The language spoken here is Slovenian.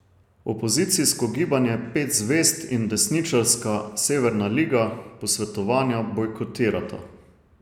Opozicijsko gibanje Pet zvezd in desničarska Severna liga posvetovanja bojkotirata.